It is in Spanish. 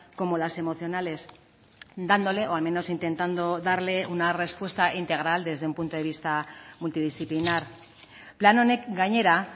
como las emocionales dándole o al menos intentando darle una respuesta integral desde un punto de vista multidisciplinar plan honek gainera